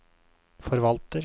forvalter